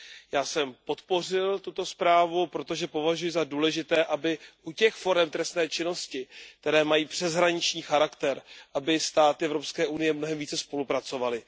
Já jsem podpořil tuto zprávu, protože považuji za důležité, aby u těch forem trestné činnosti, které mají přeshraniční charakter, státy EU mnohem více spolupracovaly.